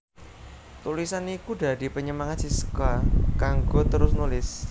Tulisan iku dadi panyemangat Siska kanggo terus nulis